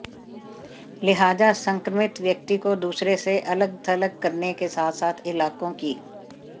लिहाजा संक्रमित व्यक्ति को दूसरों से अलग थलग करने के साथ साथ इलाकों की